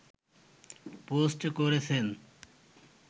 post করেছেন